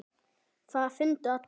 Það fundu allir.